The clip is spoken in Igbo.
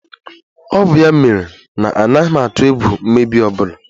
Ọ bụ ya mere na anaghị m atụ egwu mmebi ọ bụla